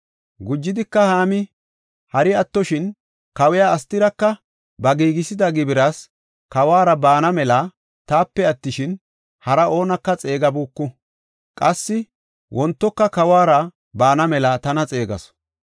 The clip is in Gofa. Gujidika Haami, “Hari attoshin kawiya Astiraka ba giigisida gibiras kawuwara baana mela taape attishin, hara oonaka xeegabuuku. Qassi wontoka kawuwara baana mela tana xeegasu.